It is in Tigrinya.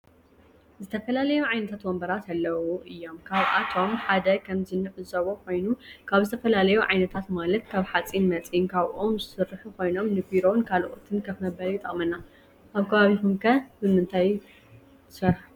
ዝተፈላለዩ ዓይነታት ወንበራት አለዉ እዩም። ካብአቶም ሓደ ከምዚ እንዕዘቦ ኮይኑ ካብ ዝተፈላለዩ ዓይነታተ ማለት ካብ ሓፂን መፂን ካብ ኦም ዝስሩሑ ኮይኖም ንቢሮ ካልኦትን ከፍ መበሊ ይጠቅመና አብ ከባቢኩም ከ ብምንታይ ትሰሩሑ?